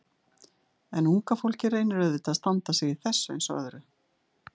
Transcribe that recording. En unga fólkið reynir auðvitað að standa sig í þessu eins og öðru.